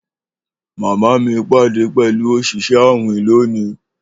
Mama mi pade pẹlu oṣiṣẹ awin loni